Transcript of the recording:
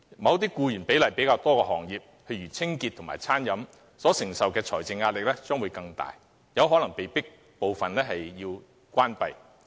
一些聘用較多僱員的行業所承受的財政壓力將更大，部分可能會被迫結業。